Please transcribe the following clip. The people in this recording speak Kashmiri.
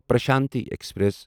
پرشانتی ایکسپریس